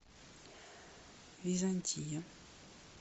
византия